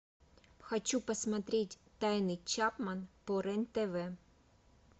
хочу посмотреть тайны чапман по рен тв